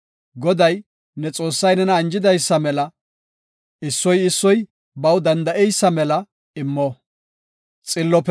Goday, ne Xoossay nena anjidaysa mela issoy issoy baw danda7eysa mela immo.